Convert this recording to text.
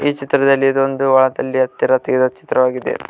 ಈ ಚಿತ್ರದಲ್ಲಿ ಇದೊಂದು ತೀರಾ ಚಿತ್ರವಾಗಿದೆ.